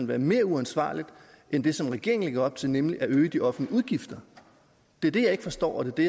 være mere uansvarligt end det som regeringen lægger op til nemlig at øge de offentlige udgifter det er det jeg ikke forstår og det